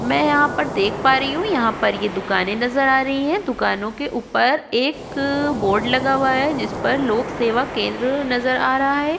मै यहापर देख पा रही हु यहापर ये दुकाने नजर आ रही है दुकानों के उपर एक बोर्ड लगा हुआ है जिसपर लोकसेवा केंद्र नजर आ रहा है।